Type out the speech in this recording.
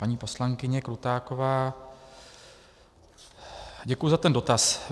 Paní poslankyně Krutáková, děkuji za ten dotaz.